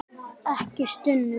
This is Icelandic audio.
Ekki stunu.